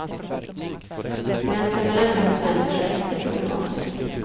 Gränsen mellan djur och människa är inte problematisk.